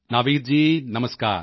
Naveed ji Namaskar